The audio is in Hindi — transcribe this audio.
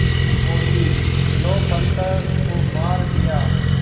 बोलीं लो पत्थर को मार दिया